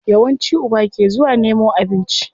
Yawanci uba ke zuwa nemo abinci.